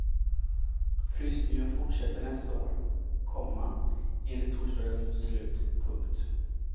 Frysningen fortsätter nästa år, komma enligt torsdagens beslut. punkt